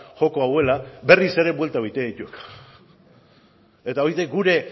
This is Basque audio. joko hau dela berriz ere bueltak egiten ditu eta hori da gure